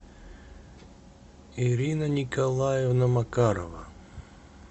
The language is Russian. ирина николаевна макарова